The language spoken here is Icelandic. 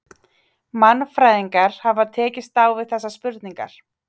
Mannfræðingar hafa tekist á við þessar spurningar.